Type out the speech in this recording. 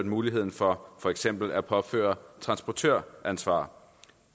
mulighed for for eksempel at påføre transportøransvar